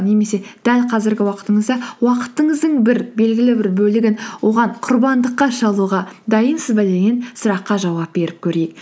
немесе дәл қазіргі уақытыңызда уақытыңыздың бір белгілі бір бөлігін оған құрбандыққа шалуға дайынсыз ба деген сұраққа жауап беріп көрейік